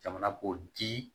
Jamana k'o di